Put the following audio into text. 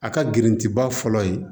A ka girintiba fɔlɔ ye